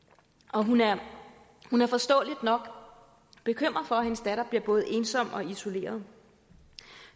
og hun er hun er forståeligt nok bekymret for at hendes datter bliver både ensom og isoleret